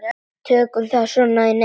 Tökum þá svo í nefið!